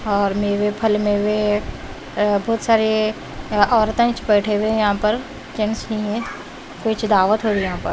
और मेवे फल में वे अ बहुत सारे अ औरतें च बैठे हुए हैं यहाँ पर जेन्स हैं मीन्स दावत हो रही है यहाँ पर।